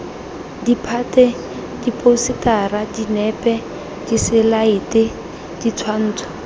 ditphate diphousetara dinepe diselaete ditshwantsho